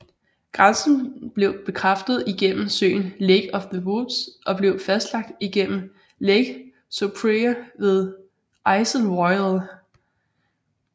Grænsen blev bekræftet igennem søen Lake of the Woods og blev fastlagt igennem Lake Superior ved Isle Royale